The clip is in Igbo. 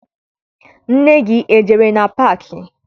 Nne gị ejere na paakị?